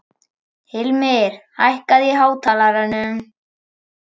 Hilmir, hækkaðu í hátalaranum.